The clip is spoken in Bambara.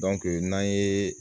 n'an ye